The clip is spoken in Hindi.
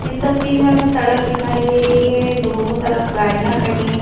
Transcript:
इस तस्वीर में हमें सड़क दिखाई दे रही है दोनों तरफ गाड़ियां खड़ी है।